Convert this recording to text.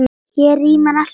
Hér rímar allt við föng.